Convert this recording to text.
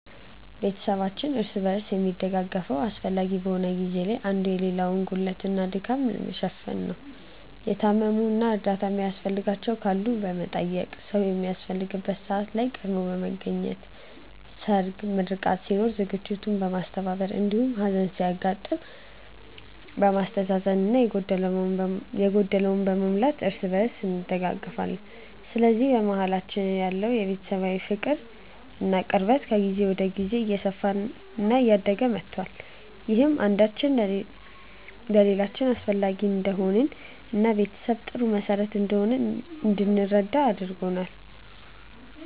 ቤተሰባችን እርስ በርስ የሚደጋገፈው አስፈላጊ በሆነ ጊዜ ላይ አንዱ የሌላውን ጉድለት እና ድካም በመሸፈን ነው። የታመሙ እና እርዳታ የሚያስፈልጋቸው ካሉ በመጠየቅ፣ ሰዉ በሚያስፈልግበት ሰዓት ላይ ቀድሞ በመገኘት ሰርግ፣ ምርቃት ሲኖር ዝግጅቱን በማስተባበር እንዲሁም ሀዘን ሲያጋጥም በማስተዛዘን እና የጎደለውን በመሙላት እርስ በእርስ እንደጋገፋለን። በዚህም በመሀላችን ያለው ቤተሰባዊ ፍቅር እና ቅርበት ከጊዜ ወደ ጊዜ እየሰፋ እና እያደገ መቷል። ይህም አንዳችን ለሌላችን አስፈላጊ እንደሆንን እና ቤተሰብ ጥሩ መሰረት እንደሆነ እንድንረዳ አድርጎናል።